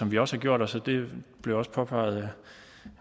vi også har gjort os og det blev også påpeget